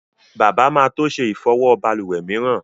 Bàbá má to ṣe Ìfọwọ́ balùwè mìíràn.